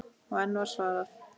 Og enn var svarað